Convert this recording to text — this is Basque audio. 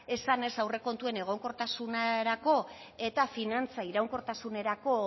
esanez aurrekontuen egonkortasunerako eta finantza iraunkortasunerako